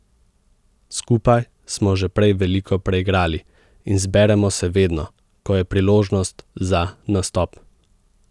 Skupaj smo že prej veliko preigrali in zberemo se vedno, ko je priložnost za nastop.